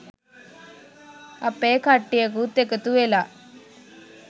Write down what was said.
අපේ කට්ටියකුත් එකතු වෙලා